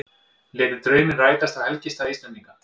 Létu drauminn rætast á helgistað Íslendinga